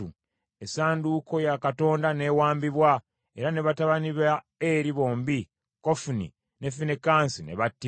Essanduuko ya Katonda n’ewambibwa, era ne batabani ba Eri bombi, Kofuni ne Finekaasi ne battibwa.